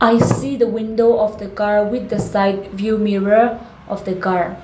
i see the window of the car with the side view mirror of the car.